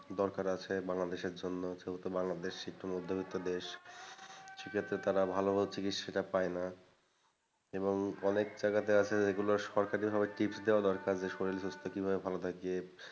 দরকার আছে বাংলাদেশের জন্য যেহেতু বাংলাদেশ নিম্নমধ্যবিত্ত দেশ, সেক্ষেত্রে তারা ভালোমতো চিকিৎসাটা পায়না এবং অনেক জায়গাতে আছে regular সরকারিভাবে tips দেওয়া দরকার যে শরীরস্বাস্থ্য কিভাবে ভালো থাকে।